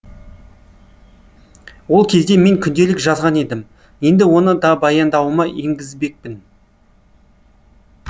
ол кезде мен күнделік жазған едім енді оны да баяндауыма енгізбекпін